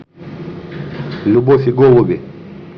любовь и голуби